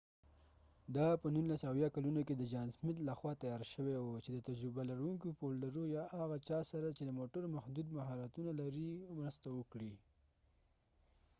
دا په ۱۹۷۰ کلونو کې د جان سمت لخوا تیار شوی و چې د تجربه لرونکو فولډرو یا هغه چا سره چې د موټرو محدود مهارتونه لري مرسته وکړئ